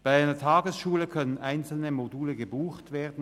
Bei einer Tagesschule können einzelne Module gebucht werden.